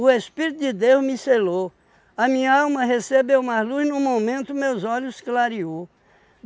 Espírito de Deus me selou, a minha alma recebeu mais luz no momento meus olhos clareou.